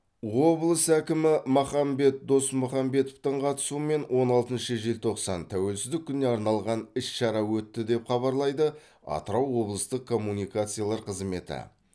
облыс әкімі махамбет досмұхамбетовтің қатысуымен он алтыншы желтоқсан тәуелсіздік күніне арналған іс шара өтті деп хабарлайды атырау облыстық коммуникациялар қызметі